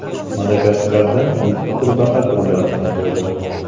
Madagaskarda mitti qurbaqa turlari topildi.